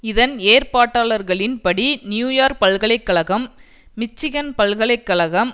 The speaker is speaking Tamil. இதன் ஏற்பாட்டாளர்களின் படி நியூயோர்க் பல்கலை கழகம் மிச்சிகன் பல்கலை கழகம்